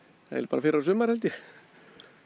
fyrrasumar held ég